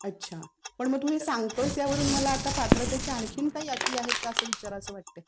अच्छा. पण आता हे तू सांगतोयेस त्यावरून आता पात्रतेच्या आणखी काही अटी आहेत का असं विचारावंसं वाटतंय.